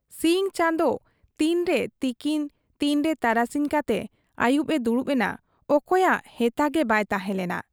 ᱥᱤᱧ ᱪᱟᱸᱫᱚ ᱛᱤᱱᱨᱮ ᱛᱤᱠᱤᱱ ᱛᱤᱱᱨᱮ ᱛᱟᱨᱟᱥᱤᱧ ᱠᱟᱛᱮ ᱟᱹᱭᱩᱵᱚᱜ ᱮ ᱫᱩᱲᱩᱵ ᱮᱱᱟ, ᱚᱠᱚᱭᱟᱜ ᱦᱮᱛᱟᱜᱮ ᱵᱟᱭ ᱛᱟᱦᱮᱸ ᱞᱮᱱᱟ ᱾